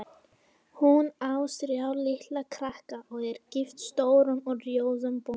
Hún á þrjá litla krakka og er gift stórum og rjóðum bónda.